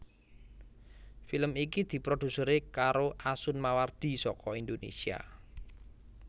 Film iki diproduseri karo Asun Mawardi saka Indonésia